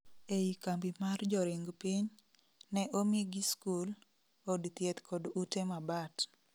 ei kambi mar joring piny, ne omigi skul, od thieth kod ute mabat